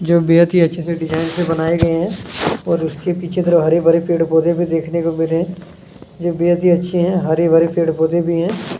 जो बेहद ही अच्छे से डिजाइन से बनाए गए है और उसके पीछे इधर हरे- भरे पेड़- पौधे भी देखने को मिल रहे है जो बेहद ही अच्छी है हरे- भरे पेड़ -पौधे भी हैं।